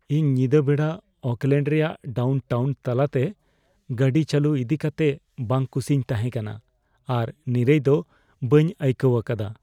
ᱤᱧ ᱧᱤᱫᱟᱹ ᱵᱮᱲᱟ ᱳᱠᱞᱮᱹᱰ ᱨᱮᱭᱟᱜ ᱰᱟᱣᱩᱱ ᱴᱟᱣᱩᱱ ᱛᱟᱞᱟᱛᱮ ᱜᱟᱹᱰᱤ ᱪᱟᱹᱞᱩ ᱤᱫᱤ ᱠᱟᱛᱮ ᱵᱟᱝᱼᱠᱩᱥᱤᱧ ᱛᱟᱦᱮᱸ ᱠᱟᱱᱟ ᱟᱨ ᱱᱤᱨᱟᱹᱭ ᱫᱚ ᱵᱟᱹᱧ ᱟᱹᱭᱠᱟᱹᱣ ᱟᱠᱟᱫᱟ ᱾